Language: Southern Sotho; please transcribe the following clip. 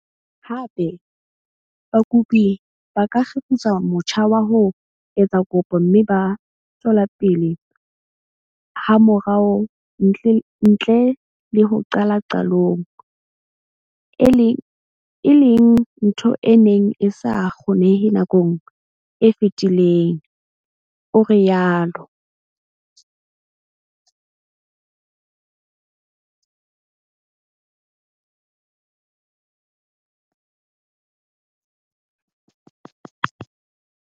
Hape, bakopi ba ka kgefutsa motjha wa ho etsa kopo mme ba tswela pele hamorao ntle le ho qala qalong, e leng ntho e neng e sa kgonehe nakong e fetileng, o rialo.